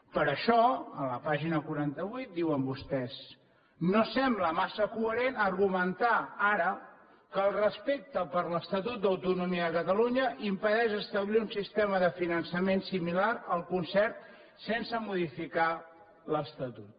per això en la pàgina quaranta vuit diuen vostès no sembla massa coherent argumentar ara que el respecte per l’estatut d’autonomia de catalunya impedeix establir un sistema de finançament similar al concert sense modificar l’estatut